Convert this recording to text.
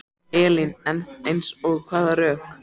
Elín: En eins og hvaða rök?